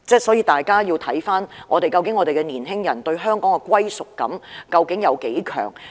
所以，大家要思考一下，究竟年輕人對香港的歸屬感有多強？